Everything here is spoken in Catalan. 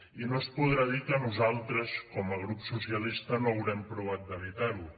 i no es podrà dir que nosaltres com a grup socialista no haurem provat d’evitarho